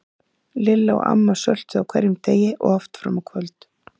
Lilla og amma söltuðu á hverjum degi og oft fram á kvöld.